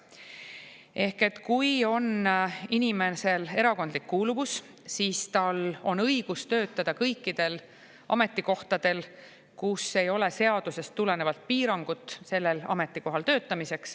Ehk et kui inimesel on erakondlik kuuluvus, siis tal on õigus töötada kõikidel ametikohtadel, kus ei ole seadusest tulenevat piirangut sellel ametikohal töötamiseks.